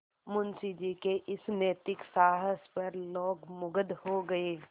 मुंशी जी के इस नैतिक साहस पर लोग मुगध हो गए